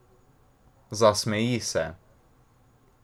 Zasmeji se.